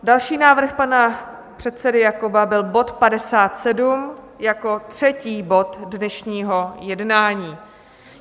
Další návrh pan předsedy Jakoba byl bod 57 jako třetí bod dnešního jednání.